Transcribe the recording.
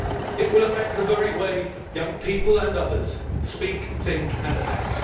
It will affect the very way young people and others speak, think and act.